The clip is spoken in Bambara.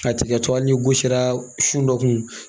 A tigɛ tɔ hali gosira su dɔ kun